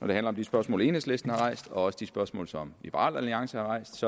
det handler om de spørgsmål enhedslisten har rejst og også de spørgsmål som liberal alliance har rejst